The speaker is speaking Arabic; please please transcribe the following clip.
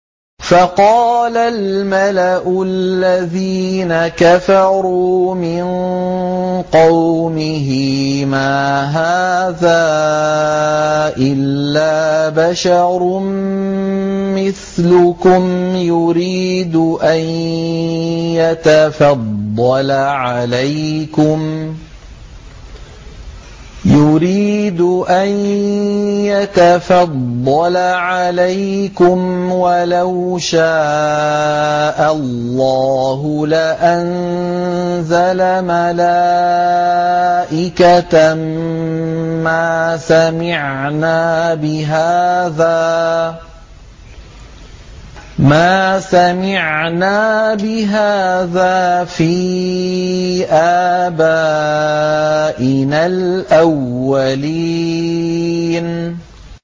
فَقَالَ الْمَلَأُ الَّذِينَ كَفَرُوا مِن قَوْمِهِ مَا هَٰذَا إِلَّا بَشَرٌ مِّثْلُكُمْ يُرِيدُ أَن يَتَفَضَّلَ عَلَيْكُمْ وَلَوْ شَاءَ اللَّهُ لَأَنزَلَ مَلَائِكَةً مَّا سَمِعْنَا بِهَٰذَا فِي آبَائِنَا الْأَوَّلِينَ